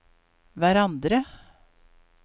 hverandre